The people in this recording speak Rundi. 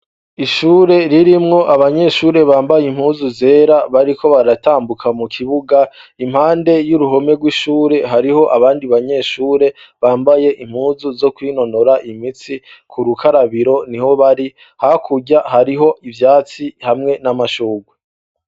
Ishure ririmwo abanyeshure bambaye impuzu zera bariko baratambuka mu kibuga impande y'uruhome rw'ishure hariho abandi banyeshure bambaye impuzu zo kwinonora imitsi ku rukarabiro ni ho bari, hakurya hariho ivyatsi hamwe n'amashurwe.